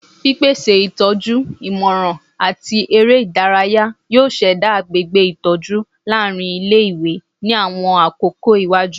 Pipese itọju, imọran, ati ere idaraya yoo ṣẹda agbegbe itọju laarin ile-iwe ni awọn akoko iwaju